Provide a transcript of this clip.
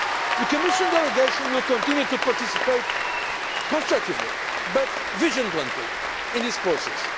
The Commission delegation will continue to participate constructively but vigilantly in this process.